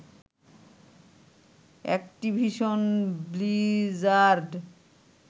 Activision Blizzard